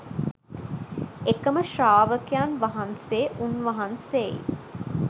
එකම ශ්‍රාවකයන් වහන්සේ උන්වහන්සේයි.